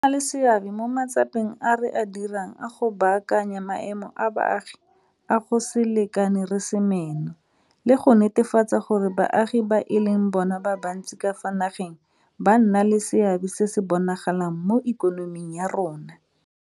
E na le seabe mo matsapeng a re a dirang a go baakanya maemo a baagi a go se lekane re se meno le go netefatsa gore baagi ba e leng bona ba bantsi ka fa nageng ba nna le seabe se se bonagalang mo ikonoming ya rona.